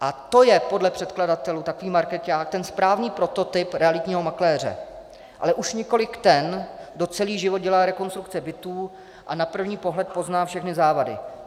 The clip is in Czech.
A to je podle předkladatelů takový markeťák, ten správný prototyp realitního makléře, ale už nikoliv ten, kdo celý život dělá rekonstrukce bytů a na první pohled pozná všechny závady.